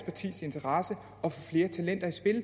interesse